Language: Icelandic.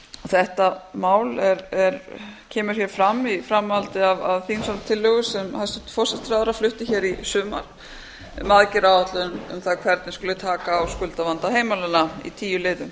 þetta mál kemur hér fram í framhaldi af þingsályktunartillögu sem hæstvirtur forsætisráðherra flutti hér í sumar um aðgerðaráætlun um það hvernig skuli taka á skuldavanda heimilanna í tíu liðum